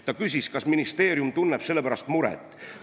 Ta küsis, kas ministeerium tunneb selle pärast muret.